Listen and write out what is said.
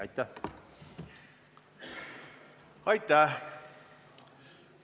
Aitäh!